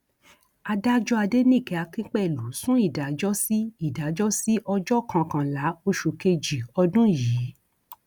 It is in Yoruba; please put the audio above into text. adájọ adẹnìke akínpẹlú sún ìdájọ sí ìdájọ sí ọjọ kọkànlá oṣù kejì ọdún yìí